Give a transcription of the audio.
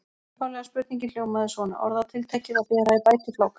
Upphaflega spurningin hljómaði svona: Orðatiltækið að bera í bætifláka.